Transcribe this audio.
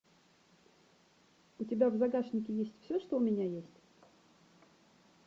у тебя в загашнике есть все что у меня есть